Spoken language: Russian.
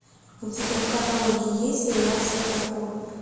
у тебя в каталоге есть сериал светофор